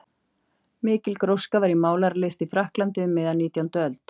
Mikil gróska var í málaralist í Frakklandi um miðja nítjándu öld.